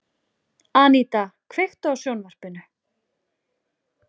Aníta, kveiktu á sjónvarpinu.